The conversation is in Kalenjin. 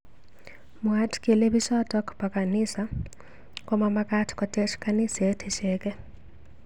Mwaat kele bichotok bo kanisa komomakat kotech kaniset icheke.